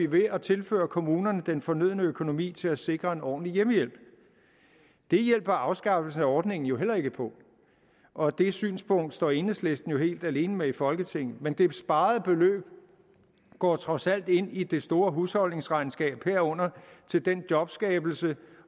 ved at tilføje kommunerne den fornødne økonomi til at sikre en ordentlig hjemmehjælp det hjælper afskaffelsen af ordningen jo heller ikke på og det synspunkt står enhedslisten helt alene med i folketinget men det sparede beløb går trods alt ind i det store husholdningsregnskab herunder til den jobskabelse